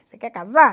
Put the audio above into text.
Você quer casar?